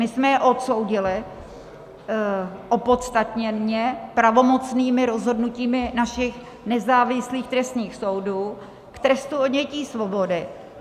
My jsme je odsoudili, opodstatněně, pravomocnými rozhodnutími našich nezávislých trestních soudů k trestu odnětí svobody.